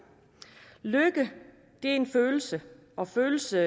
lykke er en følelse og følelser